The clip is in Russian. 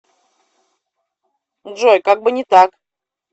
джой как бы не так